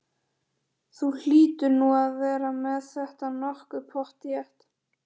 Þú hlýtur nú að vera með þetta nokkuð pottþétt?